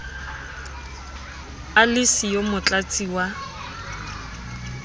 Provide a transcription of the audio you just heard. a le siyo motlatsi wa